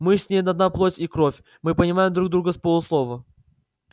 мы с ней одна плоть и кровь мы понимаем друг друга с полуслова